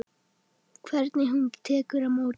Hvernig hún tekur á móti